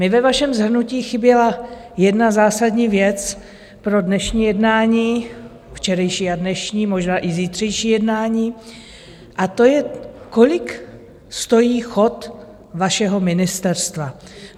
Mně ve vašem shrnutí chyběla jedna zásadní věc pro dnešní jednání, včerejší a dnešní, možná i zítřejší jednání, a to je, kolik stojí chod vašeho ministerstva.